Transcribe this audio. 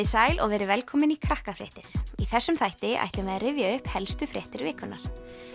sæl og verið velkomin í Krakkafréttir í þessum þætti ætlum við að rifja upp helstu fréttir vikunnar